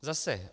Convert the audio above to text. Zase.